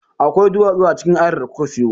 Akwai duwatsu a cikin ayar da kuka siyo.